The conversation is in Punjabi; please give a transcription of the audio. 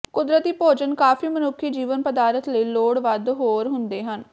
ਕੁਦਰਤੀ ਭੋਜਨ ਕਾਫ਼ੀ ਮਨੁੱਖੀ ਜੀਵਨ ਪਦਾਰਥ ਲਈ ਲੋੜ ਵੱਧ ਹੋਰ ਹੁੰਦੇ ਹਨ